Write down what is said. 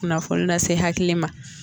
Kunnanfolil lase hakili ma.